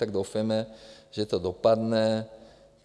Tak doufejte, že to dopadne.